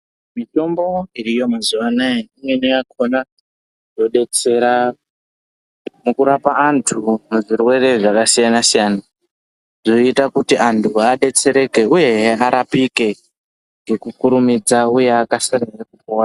Mitombo iriyo mazuva anawa imweni yakona yodetsera nekurapa antu zvirwere zvakasiyana siyana zvoita kuti antu adetsereke uyehe arapike Ngekukurumidza uye akasire hee kupona.